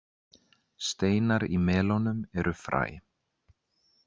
Steinar í melónum eru fræ.